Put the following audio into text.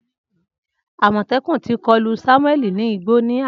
Amotekun ti kolu Samuel ni igbo ni ana.